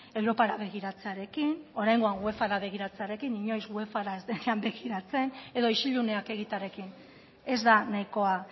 europara begiratzearekin oraingoan uefara begiratzearekin inoiz uefara ez denean begiratzen edo isiluneak egitearekin ez da nahikoa